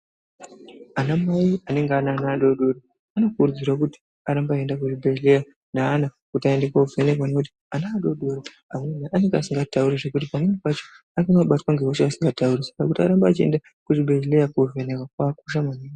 Ana mai anenge ane ana adodori anokurudzirwa kuti arambe eienda kuzvibhedhera neana kuti aende koovhenekea ngekutii ana adodori pamweni anenge asingaatauri zvekuti pamweni pacho anobatwa ngehosha asikatauri, saka kuti arambe eienda kuchibhedhleya koovhenekwa kwakakosha maningi.